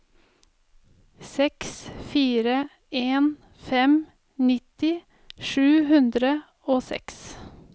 seks fire en fem nitti sju hundre og seks